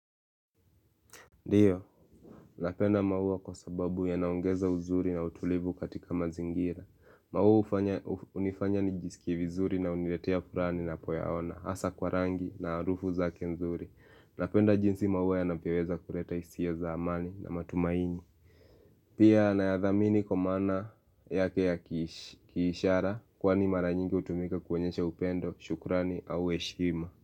Ndiyo, napenda maua kwa sababu yanaongeza uzuri na utulivu katika mazingira maua hunifanya nijisikie vizuri na huniletea furaha ninapoyaona hasa kwa rangi na harufu zake nzuri Napenda jinsi maua yanavyoweza kuleta hisia za amani na matumaini Pia nayadhamini kwa maana yake ya kiishara Kwani mara nyingi hutumika kuonyesha upendo, shukrani au heshima.